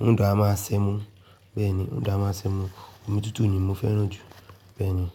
òún dà máa ṣẹmu. Bẹ́ẹ̀ni, òún dà máa ṣẹmu. Omi tútù ni mo fẹ́ràn jù. Bẹ́ẹ̀ni.